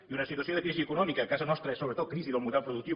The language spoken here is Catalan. i una situació de crisi econòmica a casa nostra és sobretot crisi del model productiu